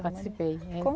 Participei. Como